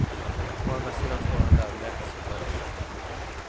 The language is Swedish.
Å andra sidan står han där och läser för oss.